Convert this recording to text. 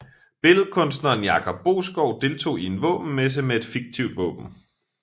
Billedkunstneren Jakob Boeskov deltog i en våbenmesse med et fiktivt våben